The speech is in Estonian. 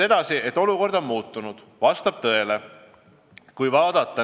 Edasi, see, et olukord on muutunud, vastab tõele.